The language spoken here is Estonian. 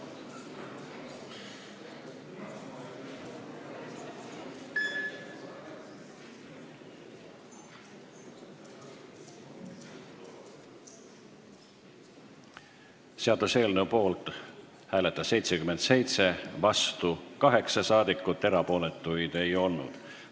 Hääletustulemused Seaduseelnõu poolt hääletas 77, vastu 8 rahvasaadikut, erapooletuid ei olnud.